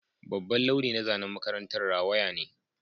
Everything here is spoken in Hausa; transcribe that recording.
Babban launi na zanen makarantar rawaya ne